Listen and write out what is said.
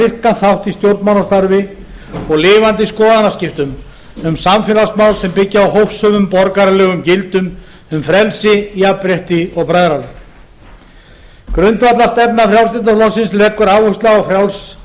virkan þátt í stjórnmálastarfi og lifandi skoðanaskiptum um samfélagsmál sem byggja á hófsömum borgaralegum gildum um frelsi jafnrétti og bræðralag grundvallarstefna frjálslynda flokksins leggur áherslu á